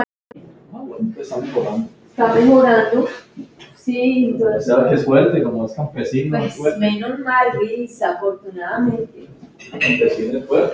Hvað kemur það þér við?